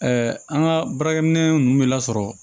an ka baarakɛminɛn ninnu bɛ lasɔrɔ